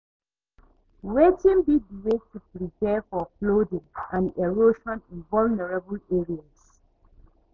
Wetin be di way to prepare for flooding and erosion in vulnerable areas?